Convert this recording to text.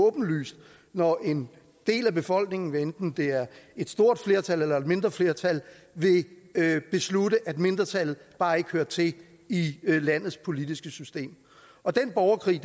åbenlyst når en del af befolkningen hvad enten det er et stort flertal eller et mindre flertal vil beslutte at mindretallet bare ikke hører til i landets politiske system og den borgerkrig